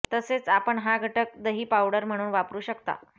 तसेच आपण हा घटक दही पावडर म्हणून वापरू शकता